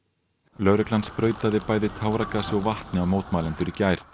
lögreglan sprautaði bæði táragasi og vatni á mótmælendur í gær